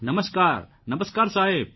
નમસ્કાર નમસ્કાર સાહેબ